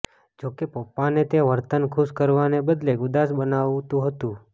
જો કે પપ્પાને તે વર્તન ખુશ કરવાને બદલે ઉદાસ બનાવતું હતું